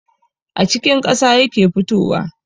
A cikin ƙasa yake fitowa